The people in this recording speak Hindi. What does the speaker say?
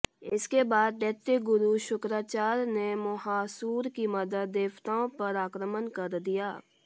इसके बाद दैत्य गुरु शुक्राचार्य ने मोहासुर की मदद देवताओं पर आक्रमण कर दिया